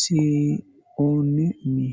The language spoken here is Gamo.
sioone-mmii.